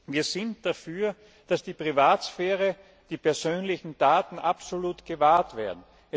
Wir sind dafür, dass die Privatsphäre, die persönlichen Daten absolut gewahrt werden.